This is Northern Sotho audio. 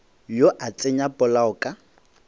yo a tsenya polao ka